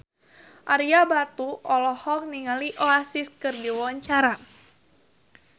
Ario Batu olohok ningali Oasis keur diwawancara